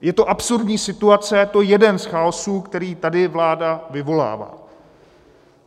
Je to absurdní situace, je to jeden z chaosů, který tady vláda vyvolává.